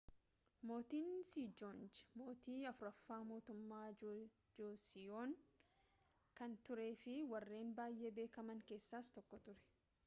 mootin seejoongii mootii afuraffaa mootummaa joosiyoon kan turee fi warreen baayye beekaman keessaas tokko ture